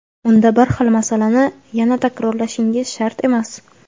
unda bir xil masalani yana takrorlashingiz shart emas.